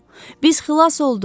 Biz xilas olduq!